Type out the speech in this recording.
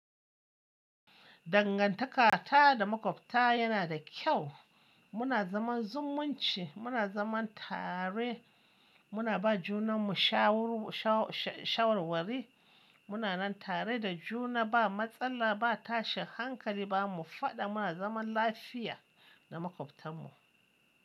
Dangantakata da maƙwabta yana da kyau. Muna zaman zumunci, muna zaman tare, muna ba junanmu shawarwari. Muna nan tare da juna ba matsala, ba tashin hankali ba, mu faɗa muna zaman lafiya da maƙwabtanmu.